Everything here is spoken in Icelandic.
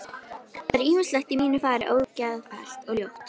Það er ýmislegt í mínu fari ógeðfellt og ljótt.